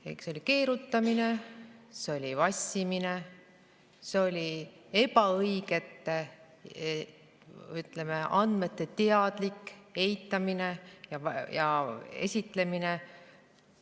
See oli keerutamine, see oli vassimine, see oli ebaõigete andmete teadlik eitamine ja esitlemine.